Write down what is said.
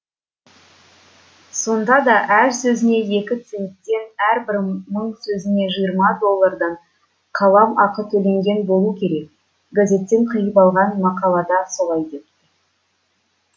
сонда да әр сөзіне екі центтен әрбір мың сөзіне жиырма доллардан қалам ақы төленген болу керек газеттен қиып алған мақалада солай депті